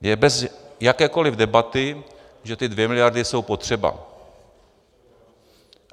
Je bez jakékoli debaty, že ty 2 miliardy jsou potřeba.